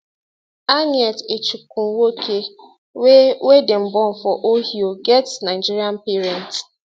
annette echikunwoke wey wey dem born for ohio get nigerian parents